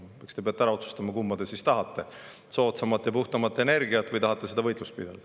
Eks te peate ära otsustama, kumba te siis tahate: soodsamat ja puhtamat energiat või seda võitlust pidada.